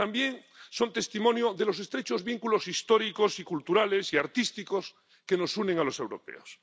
Pero también son testimonio de los estrechos vínculos históricos y culturales y artísticos que nos unen a los europeos.